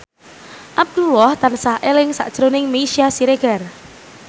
Abdullah tansah eling sakjroning Meisya Siregar